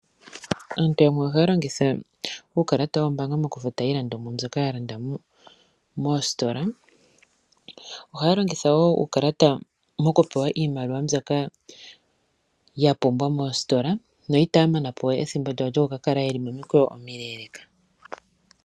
Aantu yamwe ohaya longitha uukalata woombaanga mokufuta iilandomwa mbyoka ya landa moostola. Ohaya longitha woo uukalata moku pewa iimaliwa mbyoka ya pumbwa moostola no itaya mana po ethimbo lyawo lyokuka kala ye li momikweyo omileleeka.